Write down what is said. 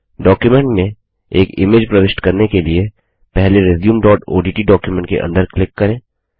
document में एक image प्रविष्ट करने के लिए पहले resumeओडीटी डॉक्युमेंट के अंदर क्लिक करें